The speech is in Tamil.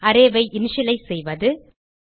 அரே ஐ இனிஷியலைஸ் செய்வது